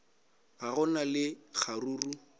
ga go na le kgaruru